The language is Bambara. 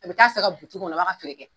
A bɛ k'a sa kɔnɔ a b'a ka feere kɛ.